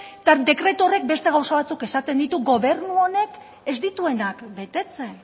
eta dekretu horrek beste gauza batzuk esaten ditu gobernu honek ez dituenak betetzen